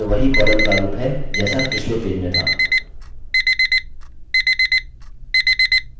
इस पेज में वही column प्रारूप है जैसा पिछले पेज में था